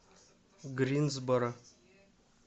гринсборо